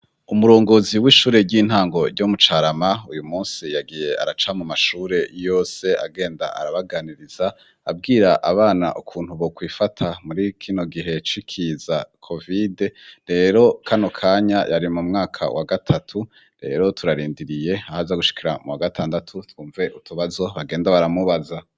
Umurongozi w'ishure ry'intango ryo mu Carama, uyu musi yagiye araca mu mashure yose, agenda arabaganiriza, abwira abana ukuntu bo kwifata muri kino gihe cikiza kovide. Rero kano kanya yari mu mwaka wa gatatu. Rero turarindiriye aho aza gushikira mu wa gatandatu twumve utubazo bagenda baramubaza.